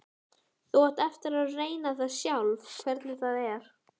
Þú átt eftir að reyna það sjálf hvernig það er.